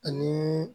Ani